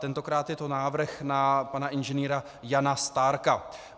Tentokrát je to návrh na pana inženýra Jana Stárka.